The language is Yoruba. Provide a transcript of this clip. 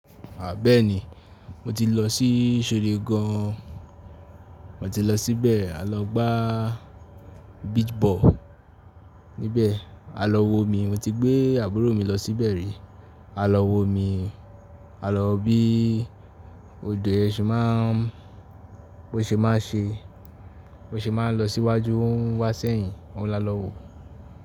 À bẹ́ẹ́ni mo ti lọ sí Ṣóré gan. Mo ti lọ síbẹ̀, a lọ gbá beach ball níbẹ̀, a lọ wo omi. Mo ti gbé àbúrò mi lọ síbẹ̀ rí, a lọ wo omi, a lọ bí odò ẹ ṣe máàán, bó ṣe máa ń ṣe, bó ṣe máa ń lọ síwájú, ó ń wá sẹ́yìn. Ọ̀un la lọ wò.